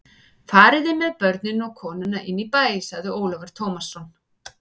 Fariði með börnin og konuna inn í bæ, sagði Ólafur Tómasson.